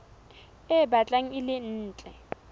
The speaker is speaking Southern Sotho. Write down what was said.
e batlang e le ntle